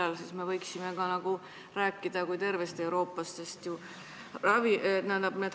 Millal me võiksime nagu rääkida tervest Euroopast?